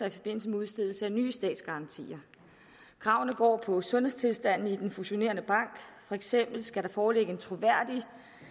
i forbindelse med udstedelse af nye statsgarantier kravene går på sundhedstilstanden i den fusionerende bank for eksempel skal der foreligge en troværdig